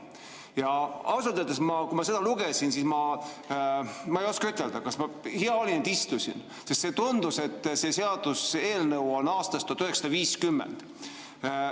Ja ausalt öeldes, kui ma seda lugesin, siis hea oli, et istusin, sest tundus, et see seaduseelnõu on aastast 1950.